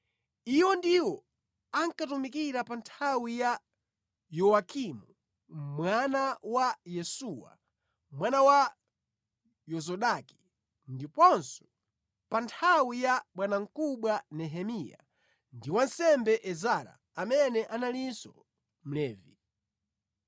Iwo ndiwo ankatumikira pa nthawi ya Yowakimu mwana wa Yesuwa mwana wa Yozadaki, ndiponso pa nthawi ya bwanamkubwa Nehemiya ndi wansembe Ezara amene analinso mlembi.